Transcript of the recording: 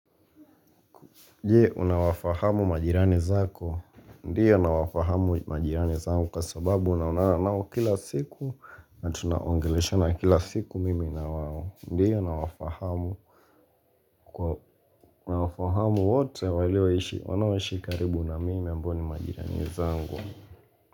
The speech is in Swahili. Je, unawafahamu majirani zako? Ndiyo nawafahamu majirani zangu kwa sababu naonana kila siku na tunaongeleshana kila siku mimi na wao Ndiyo nawafahamu wote walioishi wanaoishi karibu na mimi ambao ni majirani zangu.